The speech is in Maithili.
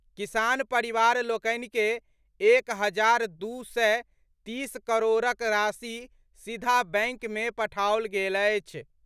किसान परिवार लोकनि के एक हजार दू सय तीस करोड़क राशि सीधा बैंक मे पठाओल गेल अछि।